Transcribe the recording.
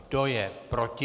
Kdo je proti?